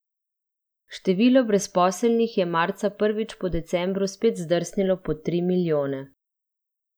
Število brezposelnih je marca prvič po decembru spet zdrsnilo pod tri milijone.